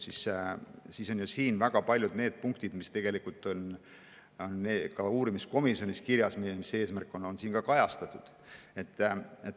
Siin on väga paljud need punktid, mis tegelikult on uurimiskomisjoni eesmärgina kirjas, ka kajastatud.